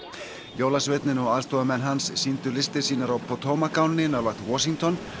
jólasveinninn og aðstoðarmenn hans sýndu listir sínar á Potomac ánni nálægt Washington